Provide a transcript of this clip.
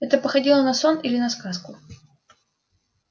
это походило на сон или на сказку